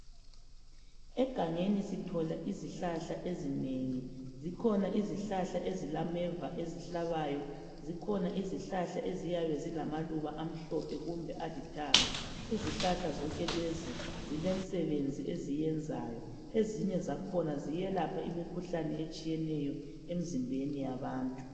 Egangeni sithola izihlahla ezinengi. Zikhona izihlahla ezilameva ezihlabayo. Zikhona izihlahla eziyabe zilamaluba amhlophe kumbe alithanga. Izihlahla zonke lezo lezi zilemsebenzi eziyenzayo. Ezinye zakhona ziyelapha imikhuhlane etshiyeneyo emzimbeni yabantu.